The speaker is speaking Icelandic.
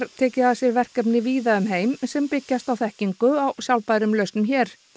tekið að sér verkefni víða um heim sem byggist á þekkingu á sjálfbærum lausnum hér